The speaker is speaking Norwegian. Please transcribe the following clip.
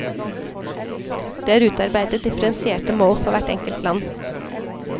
Det er utarbeidet differensierte mål for hvert enkelt land.